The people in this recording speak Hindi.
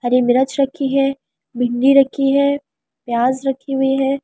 हरी मिरच रखी है भिंडी रखी है प्‍याज रखी हुई है ।